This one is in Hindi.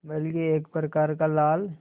बल्कि एक प्रकार का लाल